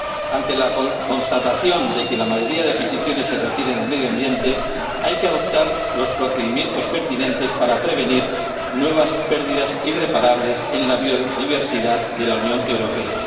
Ante la constatación de que la mayoría de peticiones se refieren al medio ambiente hay que adoptar los procedimientos pertinentes para prevenir nuevas pérdidas irreparables en la biodiversidad de la Unión Europea.